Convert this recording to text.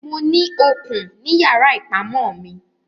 Mo ní okùn ní yàrá ìpamọ́ mi.